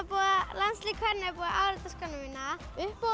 landslið kvenna er búið að árita skóna mína